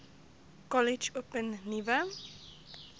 kollege open nuwe